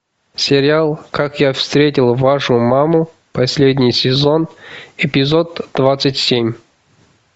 сериал как я встретил вашу маму последний сезон эпизод двадцать семь